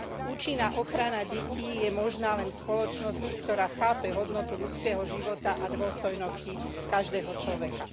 Účinná ochrana detí je možná len v spoločnosti, ktorá chápe hodnotu ľudského života a dôstojnosti každého človeka.